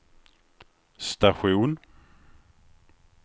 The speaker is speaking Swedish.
station